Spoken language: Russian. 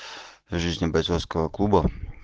жизни бойцовского клуба